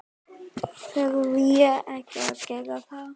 Verð ég ekki að gera það?